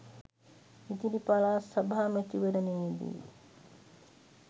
ඉදිරි පළාත් සභා මැතිවරණයේදී